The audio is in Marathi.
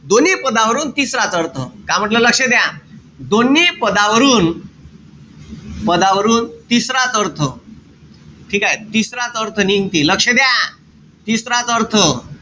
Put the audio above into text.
दोन्ही पदावरून तिसराच अर्थ. का म्हंटल? लक्ष द्या. दोन्ही पदावरून, पदावरून तिसराच अर्थ ठीकेय? तिसराच अर्थ निघते. लक्ष द्या. तिसराच अर्थ.